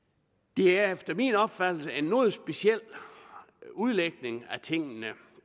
det er efter min opfattelse en noget speciel udlægning af tingene